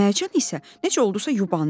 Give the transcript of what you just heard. Mərcan isə necə oldusa, yubandı.